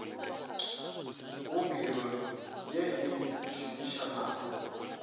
go biro ye e šomišanago